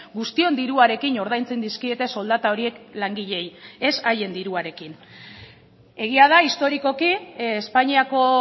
guztion diruarekin ordaintzen dizkiete soldata horiek langileei ez haien diruarekin egia da historikoki espainiako